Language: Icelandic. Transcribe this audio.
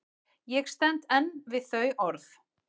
Ég stend enn við þau orð.